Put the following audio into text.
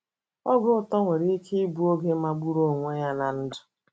OGE uto nwere ike ịbụ oge magburu onwe ya ná ndụ.